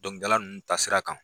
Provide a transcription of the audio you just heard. Dɔnkilidalaw nunnu taa sira kan.